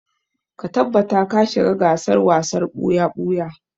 Ka tabbata ka shiga gasar wasar ɓuya-ɓuya!